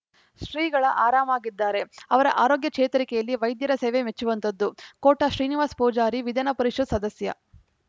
ಶ್ರೀಗಳ ಆರಾಮಾಗಿದ್ದಾರೆ ಅವರ ಆರೋಗ್ಯ ಚೇತರಿಕೆಯಲ್ಲಿ ವೈದ್ಯರ ಸೇವೆ ಮೆಚ್ಚುವಂಥದ್ದು ಕೋಟ ಶ್ರೀನಿವಾಸ ಪೂಜಾರಿ ವಿಧಾನ ಪರಿಷತ್‌ ಸದಸ್ಯ